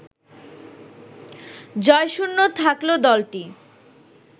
জয়শূন্য থাকলো দলটি